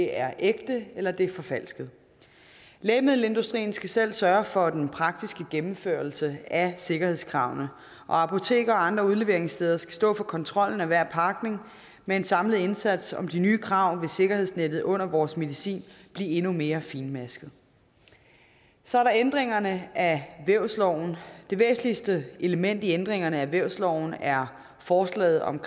er ægte eller det er forfalsket lægemiddelindustrien skal selv sørge for den praktiske gennemførelse af sikkerhedskravene og apoteker og andre udleveringssteder skal stå for kontrollen af hver pakning med en samlet indsats om de nye krav vil sikkerhedsnettet under vores medicin blive endnu mere fintmasket så er der ændringerne af vævsloven det væsentligste element i ændringerne af vævsloven er forslaget om